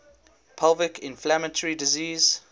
pelvic inflammatory disease